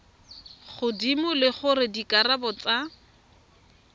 godimo le gore dikarabo tsa